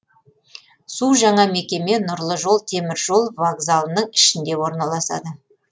су жаңа мекеме нұрлы жол теміржол вокзалының ішінде орналасады